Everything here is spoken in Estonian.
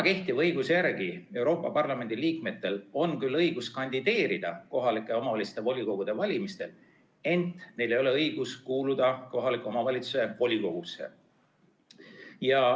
Kehtiva õiguse järgi on Euroopa Parlamendi liikmetel küll õigus kandideerida kohalike omavalitsuste volikogude valimistel, ent neil ei ole õigust kuuluda kohaliku omavalitsuse volikogusse.